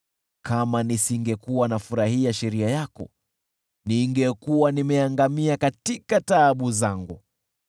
Kama nisingefurahia sheria yako, ningeangamia katika taabu zangu.